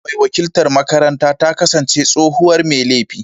Yarinyar mai wakiltar makaranta ta kasance tsohuwar mai laifi.